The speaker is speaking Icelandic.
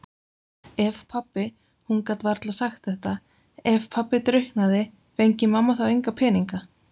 Ef pabbi- hún gat varla sagt þetta- ef pabbi drukknaði, fengi mamma þá enga peninga?